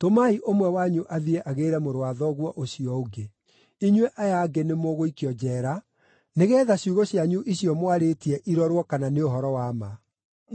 Tũmai ũmwe wanyu athiĩ agĩĩre mũrũ wa thoguo ũcio ũngĩ; inyuĩ aya angĩ nĩ mũgũikio njeera nĩgeetha ciugo cianyu icio mwarĩtie irorwo kana nĩ ũhoro wa ma.